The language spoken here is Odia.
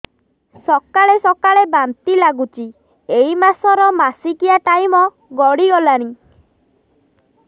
ସକାଳେ ସକାଳେ ବାନ୍ତି ଲାଗୁଚି ଏଇ ମାସ ର ମାସିକିଆ ଟାଇମ ଗଡ଼ି ଗଲାଣି